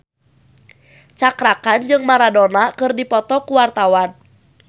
Cakra Khan jeung Maradona keur dipoto ku wartawan